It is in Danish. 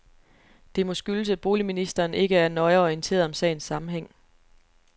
Det må skyldes, at boligministeren ikke er nøjere orienteret om sagens sammenhæng.